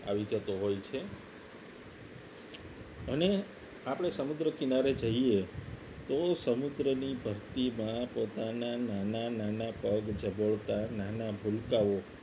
આવી જતો હોય છે અને આપણે સમગ્ર કિનારે જઈએ તો સમુદ્રની ભરતીમાં પોતાના નાના નાના પગ જબોળાતાં નાના ભૂલકાઓ